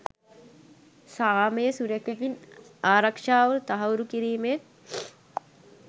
සාමය සුරැකීමේත් ආරක්ෂාව තහවුරු කිරීමේත්